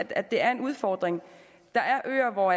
at det er en udfordring der er øer hvor